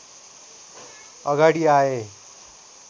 अगाडि आए